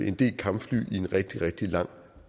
en del kampfly i en rigtig rigtig lang